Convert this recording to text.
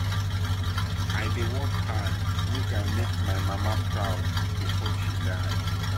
i dey work hard make i make my mama proud before she die.